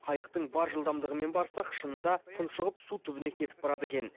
қайықтың бар жылдамдығымен барсақ шынында тұншығып су түбіне кетіп барады екен